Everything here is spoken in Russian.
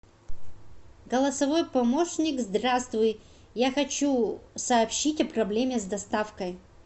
голосовой помощник здравствуй я хочу сообщить о проблеме с доставкой